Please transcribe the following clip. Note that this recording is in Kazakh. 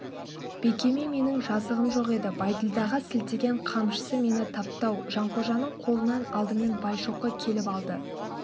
бекеме менің жазығым жоқ еді бәйділдаға сілтеген қамшысы мені тапты-ау жанқожаның қолынан алдымен байшоқы келіп алды